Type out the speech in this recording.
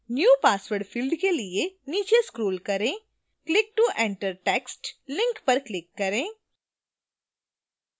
new password field के लिए नीचे scroll करें click to enter text link पर क्लिक करें